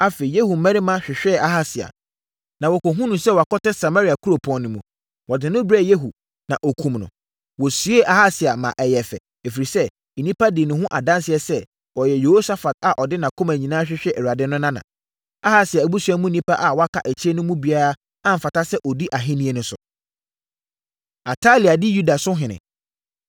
Afei, Yehu mmarima hwehwɛɛ Ahasia, na wɔkɔhunuu no sɛ wakɔtɛ Samaria kuropɔn no mu. Wɔde no brɛɛ Yehu, na ɔkumm no. Wɔsiee Ahasia maa ɛyɛɛ fɛ, ɛfiri sɛ, nnipa dii ne ho adanseɛ sɛ, “Ɔyɛ Yehosafat a ɔde nʼakoma nyinaa hwehwɛɛ Awurade no nana.” Ahasia abusua mu nnipa a wɔkaa akyire no mu biara amfata sɛ ɔdi ahennie no so. Atalia Di Yuda So Ɔhene